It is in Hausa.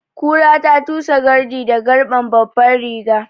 Kura da tusa gardi da garɓan babban riga